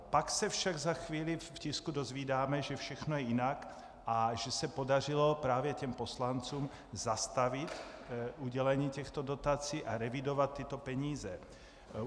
Pak se však za chvíli v tisku dozvídáme, že všechno je jinak a že se podařilo právě těm poslancům zastavit udělení těchto dotací a revidovat tyto peníze.